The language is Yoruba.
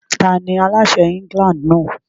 Tani aláṣẹ England náà?